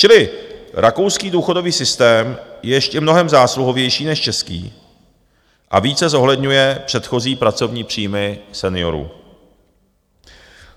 Čili rakouský důchodový systém je ještě mnohem zásluhovější než český a více zohledňuje předchozí pracovní příjmy seniorů.